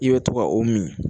I bɛ to ka o min